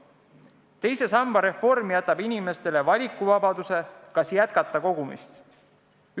Teise samba reform jätab inimestele valikuvabaduse, kas jätkata kogumist.